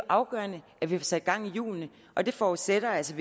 afgørende at vi får sat gang i hjulene og det forudsætter altså